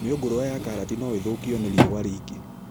Mĩũngũrwa ya karati no ĩthũkio nĩ riũa rĩingĩ